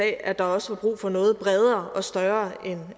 af at der også var brug for noget bredere og større end